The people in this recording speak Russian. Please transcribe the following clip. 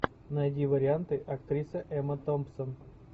найди варианты актриса эмма томпсон